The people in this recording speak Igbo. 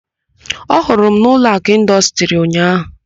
Ọ hụrụ m n' Ụlọakụ Ịndọstrị ụnyaahụ?